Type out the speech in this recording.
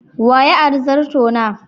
Wa ya ari zartona?